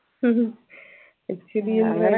ഇച്ചിരെയെന്ന